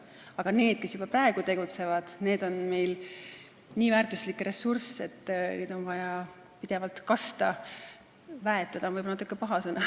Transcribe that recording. Aga need, kes juba praegu tegutsevad, on nii väärtuslik ressurss, et neid on vaja pidevalt kasta ja ... "Väetada" on võib-olla natuke paha sõna.